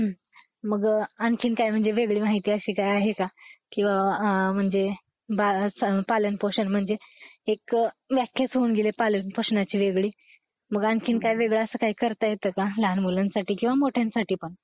मग आणखीन काय? म्हणजे वेगळी माहिती अशी काय आहे का? किंवा..अं.. म्हणजे बाळाचा पालन पोषण महणजे , एक व्याखाच होऊन गेली आहे पालन पोषणाची वेगळी, मग आणखीन काय वेगळ असं काय करता येत का लहान मुलांसाठी? किंवा मोठ्यांसाठी पण?